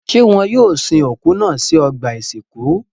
Ṣé wọn yóò sin òkú náà sí ọgbà-ìsìnkú?